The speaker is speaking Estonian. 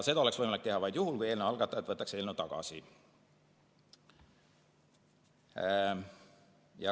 Seda oleks võimalik teha vaid juhul, kui eelnõu algatajad võtaksid eelnõu tagasi.